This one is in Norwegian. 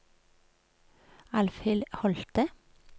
Alvhild Holthe